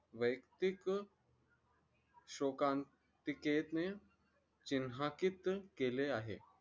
व्यक्तिक शोकांकितेचे केले आहे